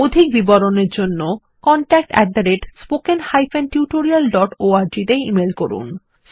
অধিক বিবরণের জন্য contactspoken tutorialorg তে ইমেল করুন